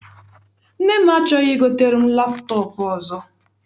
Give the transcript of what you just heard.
Nne m achọghị igotere m laptọp ọzọ.